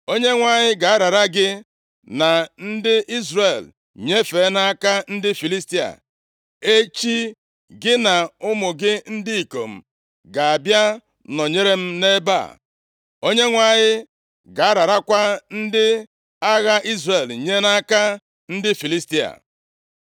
Onyenwe anyị ga-arara gị na ndị Izrel nyefee nʼaka ndị Filistia, echi gị na ụmụ gị ndị ikom ga-abịa nọnyeere m nʼebe a. Onyenwe anyị ga-ararakwa ndị agha Izrel nye nʼaka ndị Filistia.”